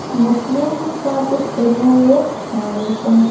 मुस्लिम का कुछ एरिया है यह और एक --